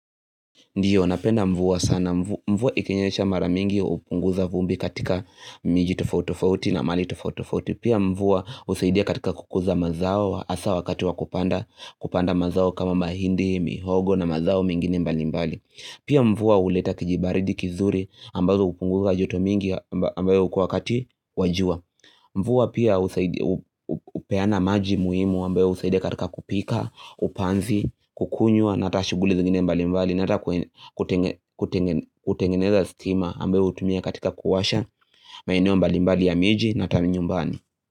Ndiyo, napenda mvua sana. Mvua ikinyesha maramingi hupunguza vumbi katika miji tofauti tofauti na mal tofauti tofauti Pia mvua husaidia katika kukuza mazao hasa wakati wakupanda mazao kama mahindi mihogo na mazao mingine mbali mbali. Pia mvua huleta kijibaridi kizuri ambazo hupunguza joto mingi ambayo kwa wakati wajua. Mvua pia hupeana maji muhimu ambayo usaidia katika kupika, upanzi, kukunywa, na hata shuguli zingine mbali mbali. Nata kutengeneza stima ambayo hutumia katika kuwasha maeneo mbali mbali ya miji na taminyombani.